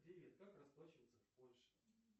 привет как расплачиваться в польше